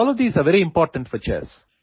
All of these are very important for chess